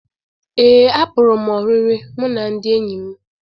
Ee, apụrụ m oriri mụ na ndị enyi m